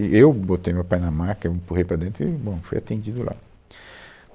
E eu botei o meu pai na maca, eu empurrei para dentro e, bom, fui atendido lá.